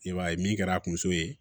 I b'a ye min kɛra a kun so ye